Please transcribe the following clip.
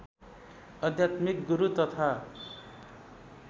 आध्यात्मिक गुरु तथा